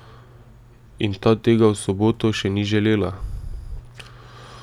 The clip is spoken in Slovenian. In ta tega v soboto še ni želela.